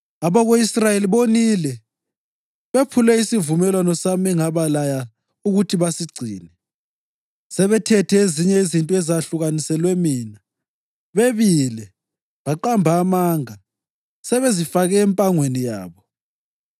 Abako-Israyeli bonile; bephule isivumelwano sami engabalaya ukuthi basigcine. Sebethethe ezinye izinto ezahlukaniselwe mina; bebile, baqamba amanga, sebezifake empangweni yabo.